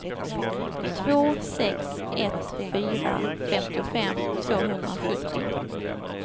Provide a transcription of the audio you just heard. två sex ett fyra femtiofem tvåhundrasjuttio